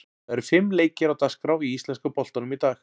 Það eru fimm leikir á dagskrá í íslenska boltanum í dag.